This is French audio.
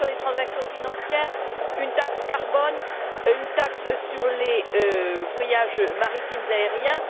Une taxe sur les transactions financières, une taxe carbone, une taxe sur les voyages maritimes et aériens?